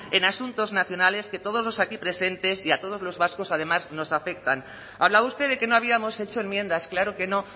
en asuntos nacionales que a todos los aquí presentes y a todos los vascos además nos afectan hablaba usted de que no habíamos hecho enmiendas claro que no